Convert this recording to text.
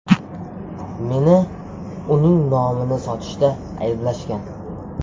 Meni uning nomini sotishda ayblashgan.